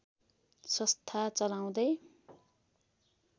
संस्था चलाउँदै